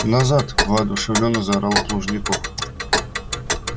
назад воодушевлённо заорал плужников